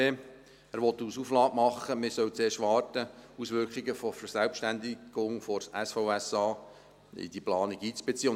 Er will als Auflage machen, man solle zuerst warten und die Auswirkungen der Verselbstständigung des SVSA in die Planung einbeziehen.